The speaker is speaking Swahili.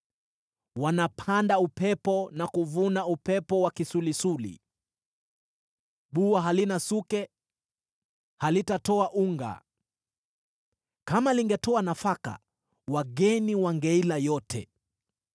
“Wanapanda upepo na kuvuna upepo wa kisulisuli. Bua halina suke, halitatoa unga. Kama lingetoa nafaka, wageni wangeila yote.